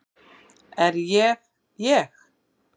Er ég ég?